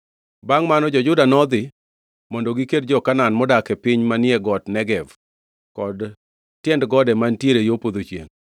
Bangʼ mano, jo-Juda nodhi mondo giked gi jo-Kanaan modak e piny manie got Negev kod tiend gode mantiere yo podho chiengʼ.